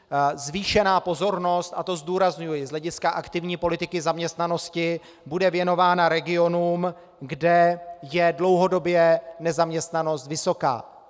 Zvýšená pozornost, a to zdůrazňuji, z hlediska aktivní politiky zaměstnanosti bude věnována regionům, kde je dlouhodobě nezaměstnanost vysoká.